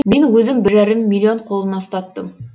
мен өзім бір жарым миллион қолына ұстаттым